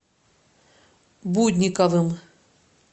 будниковым